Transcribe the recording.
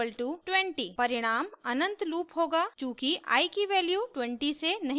परिणाम अनंत लूप होगा चूँकि i की वैल्यू 20 से नहीं बदलेगी